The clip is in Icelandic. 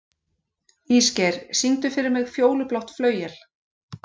Ísgeir, syngdu fyrir mig „Fjólublátt flauel“.